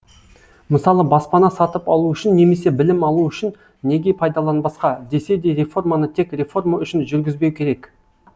мысалы баспана сатып алу үшін немесе білім алу үшін неге пайдаланбасқа десе де реформаны тек реформа үшін жүргізбеу керек